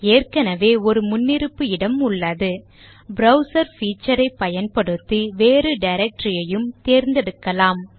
ஏற்கனவே ஒரு முன்னிருப்பு இடம் உள்ளது ப்ரோவ்ஸ் feature ஐ பயன்படுத்தி வேறு directory ஐயும் தேர்ந்தெடுக்கலாம்